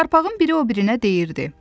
Yarpağın biri o birinə deyirdi: